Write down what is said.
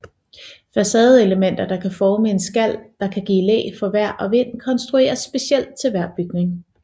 Facadeelementer der kan forme en skal der kan give læ for vejr og vind konstrueres specielt til hver bygning